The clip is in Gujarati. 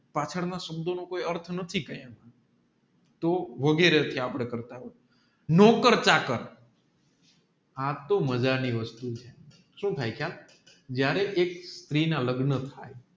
પાછળ ના શબ્દો નું કયી અર્થ તોહ વગેરે નોકર ચાકર આ તોહ મજા ની વસ્તુ છે જયારે એક સથરીના લગ્ન થાય